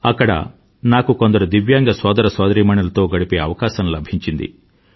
అక్కడ నాకు కొందరు దివ్యాంగ సోదర సోదరీమణులతో గడిపే అవకాశం లభించింది